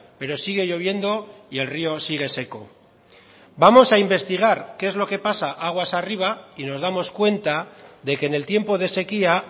pero sigue lloviendo y el río sigue seco vamos a investigar qué es lo que pasa aguas arriba y nos damos cuenta de que en el tiempo de sequía